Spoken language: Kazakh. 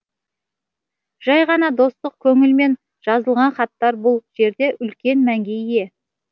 жай ғана достық көңілмен жазылған хаттар бұл жерде үлкен мәнге ие